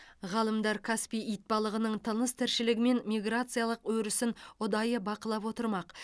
ғалымдар каспий итбалығының тыныс тіршілігі мен миграциялық өрісін ұдайы бақылап отырмақ